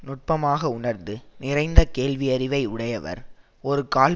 நுட்பமாக உணர்ந்து நிறைந்த கேள்வியறிவை உடையவர் ஒரு கால்